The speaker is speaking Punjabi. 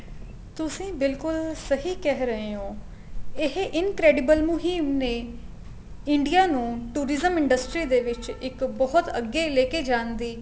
ਤੁਸੀਂ ਬਿਲਕੁਲ ਸਹੀ ਕਹਿ ਰਹੇ ਹੋ ਇਹ incredible ਮੁਹਿਮ ਨੇ India ਨੂੰ tourism industry ਦੇ ਵਿੱਚ ਇੱਕ ਬਹੁਤ ਅੱਗੇ ਲੈਕੇ ਜਾਣ ਦੀ